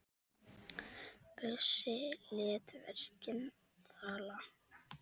Bjössi lét verkin tala.